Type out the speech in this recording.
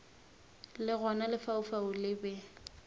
le gona lefaufau le be